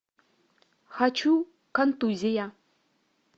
хочу контузия